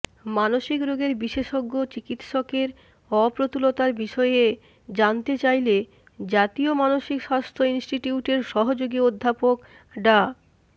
মানসিক রোগের বিশেষজ্ঞ চিকিৎসকের অপ্রতুলতার বিষয়ে জানতে চাইলে জাতীয় মানসিক স্বাস্থ্য ইনস্টিটিউটের সহযোগী অধ্যাপক ডা